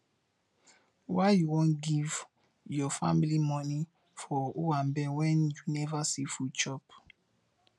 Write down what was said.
why you wan give your family moni for owambe wen you neva see food chop